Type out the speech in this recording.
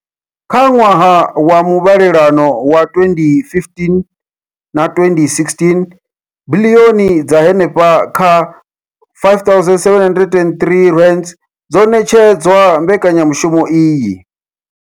Kha ṅwaha wa muvhalelano wa 2015 na 2016, biḽioni dza henefha kha R5 703 dzo ṋetshedzwa mbekanya mushumo iyi.